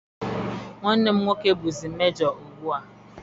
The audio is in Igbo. Nwanne m nwoke bụzi mejọ ugbu a.